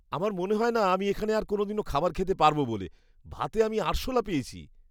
আমার মনে হয়না আমি এখানে আর কোনওদিনও খাবার খেতে পারব বলে, ভাতে আমি আরশোলা পেয়েছি।